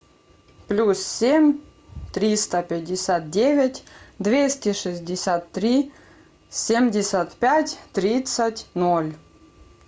плюс семь триста пятьдесят девять двести шестьдесят три семьдесят пять тридцать ноль